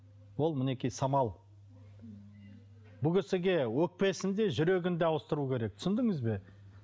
ол мінекей самал бұл кісіге өкпесін де жүрегін де ауыстыру керек түсіндіңіз бе